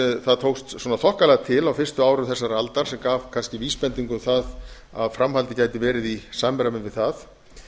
það tókst þokkalega til á fyrstu árum þessarar aldar sem gaf kannski vísbendingu um það að framhaldið gæti verið í samræmi við það